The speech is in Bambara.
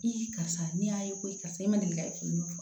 karisa nin y'a ye ko karisa i ma deli ka k'i n'o fɔ